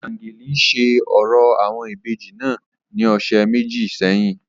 Obiageli ṣe orȯ awọn ibeji naa ni ọsẹ meji sẹhin.